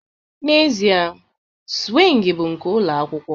N'ezie, swing bụ nke ụlọ akwụkwọ